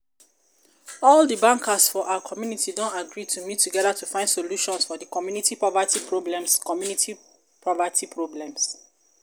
all the bankers for our community don agree to meet together to find solutions for the community poverty problems community poverty problems